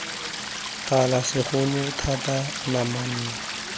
tala segolo thata nama nama